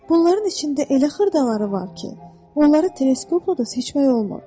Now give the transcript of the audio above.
Bunların içində elə xırdaları var ki, onları teleskopla da seçmək olmur.